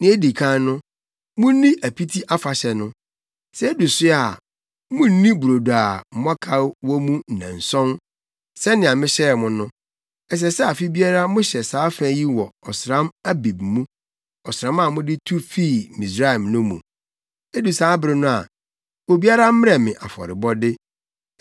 “Nea edi kan no, munni Apiti Afahyɛ no. Sɛ edu so a, munnni brodo a mmɔkaw wɔ mu nnanson, sɛnea mehyɛɛ mo no. Ɛsɛ sɛ afe biara mohyɛ saa fa yi wɔ ɔsram Abib + 23.15 Yudafo ɔsram a ɛne asranna ɔsram Ɔbɛnem hyia. mu, ɔsram a mode tu fii Misraim no mu. “Edu saa bere no a, obiara mmrɛ me afɔrebɔde.